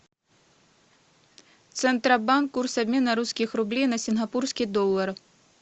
центробанк курс обмена русских рублей на сингапурский доллар